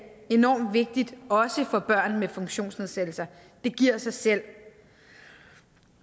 enormt vigtig også for børn med funktionsnedsættelser det giver sig selv